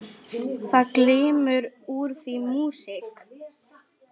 Það glymur úr því músík.